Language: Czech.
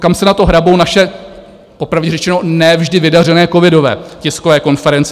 Kam se na to hrabou naše, popravdě řečeno ne vždy vydařené covidové tiskové konference.